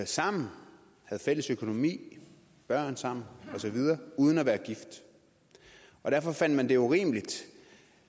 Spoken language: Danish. sammen havde fælles økonomi børn sammen og så videre uden at være gift og derfor fandt man det urimeligt